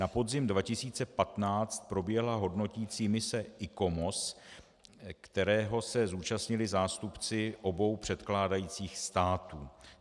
Na podzim 2015 proběhla hodnoticí mise ICOMOS, které se zúčastnili zástupci obou předkládajících států.